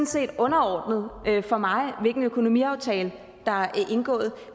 set underordnet for mig hvilken økonomiaftale der er indgået